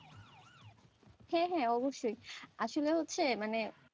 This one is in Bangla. হ্যাঁ হ্যাঁ অবশ্যই আসলে হচ্ছে মানে,